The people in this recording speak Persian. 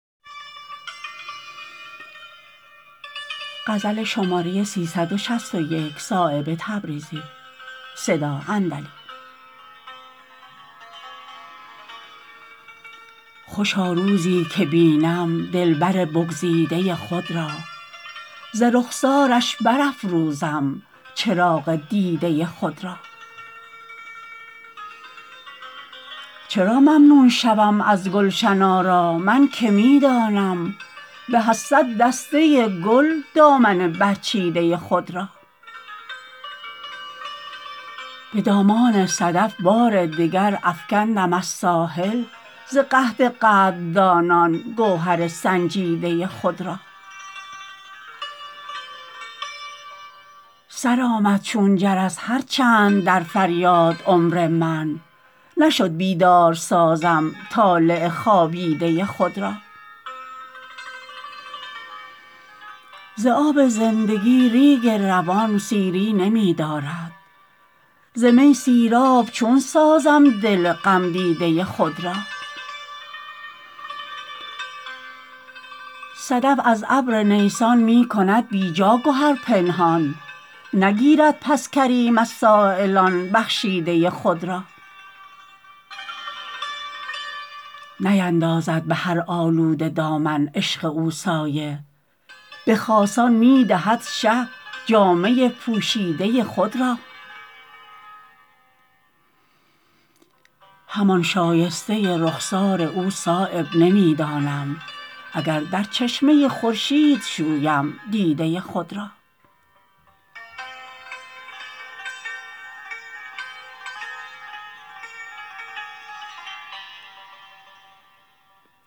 خوشا روزی که بینم دلبر بگزیده خود را ز رخسارش برافروزم چراغ دیده خود را چرا ممنون شوم از گلشن آرا من که می دانم به از صد دسته گل دامن برچیده خود را به دامان صدف بار دگر افکندم از ساحل ز قحط قدردانان گوهر سنجیده خود را سرآمد چون جرس هر چند در فریاد عمر من نشد بیدار سازم طالع خوابیده خود را ز آب زندگی ریگ روان سیری نمی دارد ز می سیراب چون سازم دل غم دیده خود را صدف از ابر نیسان می کند بیجا گهر پنهان نگیرد پس کریم از سایلان بخشیده خود را نیندازد به هر آلوده دامن عشق او سایه به خاصان می دهد شه جامه پوشیده خود را همان شایسته رخسار او صایب نمی دانم اگر در چشمه خورشید شویم دیده خود را